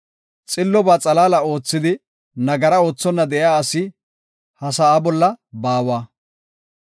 Xillobaa xalaala oothidi nagara oothonna de7iya asi ha sa7aa bolla baawa.